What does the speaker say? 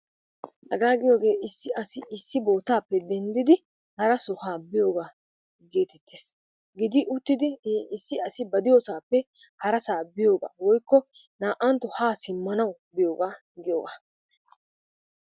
Hagaa giyoge issi assi ba bottappe dendiddi hara sohuwa biyogaa gettetees, giddi uttiddi he issi assi ba deiyo suwappe hara saa biyogaa na'antto haa simmanawu biyogaa giyogaa.